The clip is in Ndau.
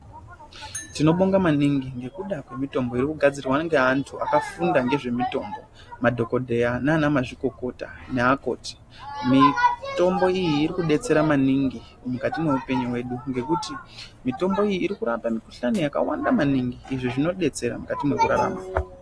Tinobonga maningi ngekuda kwemitombo irikugadzirwa ngeantu akafunda ngezvemitombo, madhogodheya nanamazvikokota naakoti. Mitombo iyi irikudetsera maningi mukati meupenyu hwedu ngekuti mitombo iyi irikurapa mikhuhlani yakawanda maningi, izvo zvinodetsera mukati mekurarama.